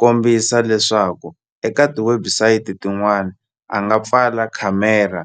kombisa leswaku eka ti-website tin'wana a nga pfala khamera